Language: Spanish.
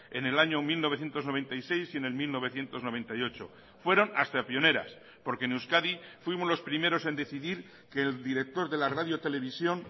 en el año mil novecientos noventa y seis y en el mil novecientos noventa y ocho fueron hasta pioneras porque en euskadi fuimos los primeros en decidir que el director de la radio televisión